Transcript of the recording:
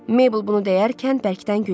Mebl bunu deyərkən bərkdən güldü.